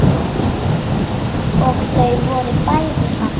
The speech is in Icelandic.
Og þau voru bæði falleg.